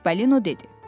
Çipollino dedi.